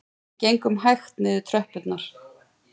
Við gengum hægt niður tröppurnar